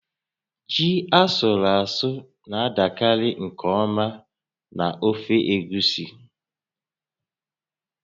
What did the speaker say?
Ji asụrụ asụ na-adakarị nke ọma na ofe egusi